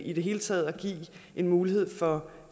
i det hele taget give mulighed for